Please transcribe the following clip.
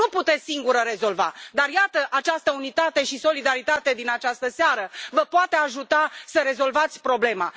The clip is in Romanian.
Nu puteți singură rezolva dar, iată, această unitate și solidaritate din această seară vă poate ajuta să rezolvați problema.